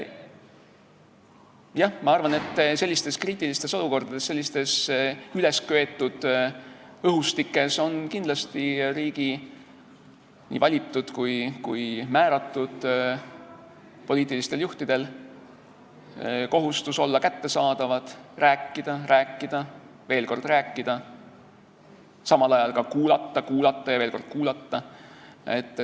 Jah, ma arvan, et sellistes kriitilistes olukordades, sellises ülesköetud õhustikus on kindlasti riigi nii valitud kui ka määratud poliitilistel juhtidel kohustus olla kättesaadavad, rääkida, rääkida, veel kord rääkida, samal ajal ka kuulata, kuulata ja veel kord kuulata.